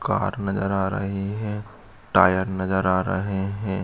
Car नज़र आ रही है टायर नज़र आ रहें हैं।